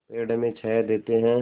पेड़ हमें छाया देते हैं